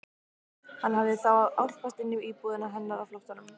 Hann hafði þá álpast inn í íbúðina hennar á flóttanum!